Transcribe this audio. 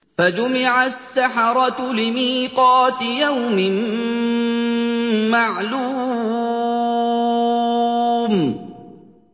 فَجُمِعَ السَّحَرَةُ لِمِيقَاتِ يَوْمٍ مَّعْلُومٍ